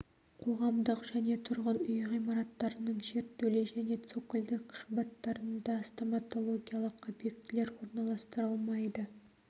қоғамдық және тұрғын үй ғимараттарының жертөле және цокольдік қабаттарында стоматологиялық объектілер орналастырылмайды